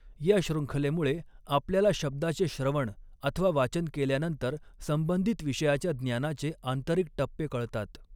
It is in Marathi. या शृङ्खलेमुळे आपल्याला शब्दाचे श्रवण अथवा वाचन केल्यानंतर संबंधित विषयाच्या ज्ञानाचे आंतरिक टप्पे कळतात.